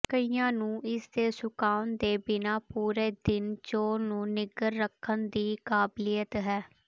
ਕਈਆਂ ਨੂੰ ਇਸਦੇ ਸੁਕਾਉਣ ਦੇ ਬਿਨਾਂ ਪੂਰੇ ਦਿਨ ਚੌਲ ਨੂੰ ਨਿੱਘਰ ਰੱਖਣ ਦੀ ਕਾਬਲੀਅਤ ਹੈ